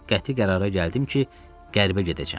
Qəti qərara gəldim ki, qərbə gedəcəm.